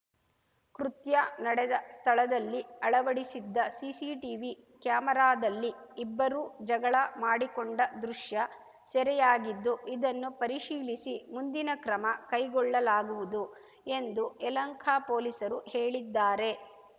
ಕೃತ್ಯ ನಡೆದ ಸ್ಥಳದಲ್ಲಿ ಅಳವಡಿಸಿದ್ದ ಸಿಸಿಟಿವಿ ಕ್ಯಾಮೆರಾದಲ್ಲಿ ಇಬ್ಬರೂ ಜಗಳ ಮಾಡಿಕೊಂಡ ದೃಶ್ಯ ಸೆರೆಯಾಗಿದ್ದು ಇದನ್ನು ಪರಿಶೀಲಿಸಿ ಮುಂದಿನ ಕ್ರಮ ಕೈಗೊಳ್ಳಲಾಗುವುದು ಎಂದು ಎಂದು ಯಲಹಂಕ ಪೊಲೀಸರು ಹೇಳಿದ್ದಾರೆ